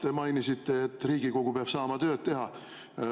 Te mainisite, et Riigikogu peab saama tööd teha.